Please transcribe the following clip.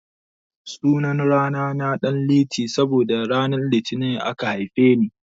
Sunan rana na Danliti saboda ranar litini aka haife ni.